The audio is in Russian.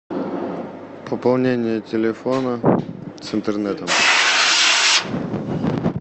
пополнение телефона с интернетом